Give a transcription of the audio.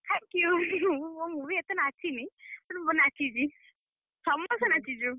Thank you ମୁଁ ମୁଁ ବି ଏତେ ନାଚିନି କିନ୍ତୁ ନାଚିଚି, ସମସ୍ତେ ନାଚିଚୁ।